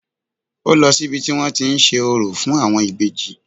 Ó lọ sí ibi tí wọ́n tí ń ṣe orò fún àwọn ìbejì